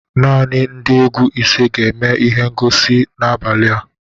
Naanị ndị egwu ise ga-eme ihe ngosi n'abalị a